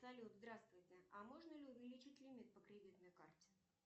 салют здравствуйте а можно ли увеличить лимит по кредитной карте